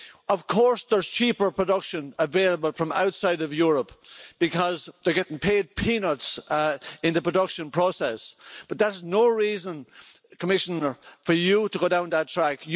Of course there's cheaper production available from outside of Europe because they're getting paid peanuts in the production process, but that is no reason, Commissioner, for you to go down that track.